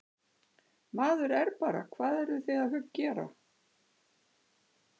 Maður er bara, hvað eruð þið að gera?